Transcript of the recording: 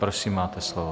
Prosím, máte slovo.